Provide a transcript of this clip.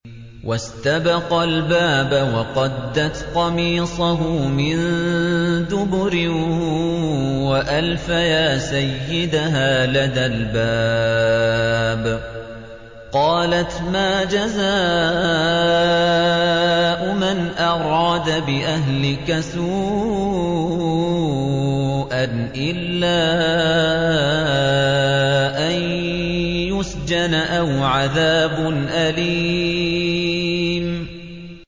وَاسْتَبَقَا الْبَابَ وَقَدَّتْ قَمِيصَهُ مِن دُبُرٍ وَأَلْفَيَا سَيِّدَهَا لَدَى الْبَابِ ۚ قَالَتْ مَا جَزَاءُ مَنْ أَرَادَ بِأَهْلِكَ سُوءًا إِلَّا أَن يُسْجَنَ أَوْ عَذَابٌ أَلِيمٌ